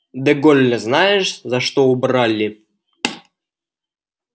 де голля знаешь за что убрали